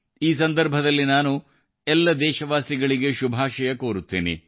ಈ ಸಂದರ್ಭದಲ್ಲಿ ನಾನು ಎಲ್ಲ ದೇಶವಾಸಿಗಳಿಗೆ ಶುಭಾಶಯ ಕೋರುತ್ತೇನೆ